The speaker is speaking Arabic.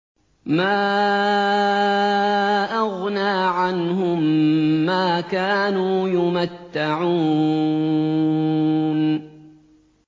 مَا أَغْنَىٰ عَنْهُم مَّا كَانُوا يُمَتَّعُونَ